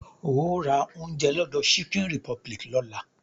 Óò ra oúnjẹ lọ́dọ̀ chicken republic lọ́la!